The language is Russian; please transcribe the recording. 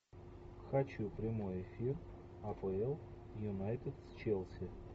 хочу прямой эфир апл юнайтед с челси